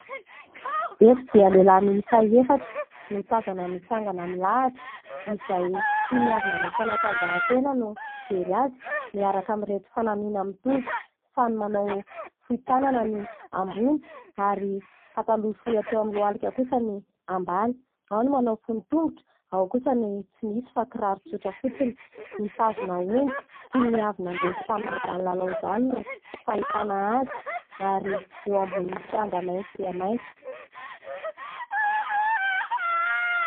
Eto dia lehilahy miisa efatra no tazana mitsangana milahatra ; izay toy ny avy nanao fanantanjahatena no fijery azy, miaraka ami'ireto fanamiana mitovy. Samy manao fohy tanana ny ambony ary pataloha fohy hatreo amin'ny lohalika kosa ny ambany. Ao no manao fohy tongotra, ao kosa ny tsy misy fa kiraro tsotra fotsiny. Mitazona omby toy ny avy nandresy tamin amin'izany lalao izany no fahitana azy. Ary eo ambonin'ny kianja maitso dia maitso.